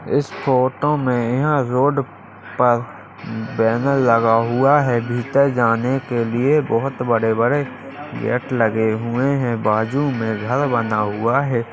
इस फोटो में यह रोड पर बैनर लगा हुआ है भीतर जाने के लिए बहोत बड़े बड़े गेट लगे हुए हैं बाजु में घर बना हुआ है।